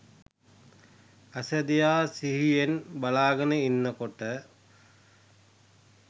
ඇස දිහා සිහියෙන් බලාගෙන ඉන්න කොට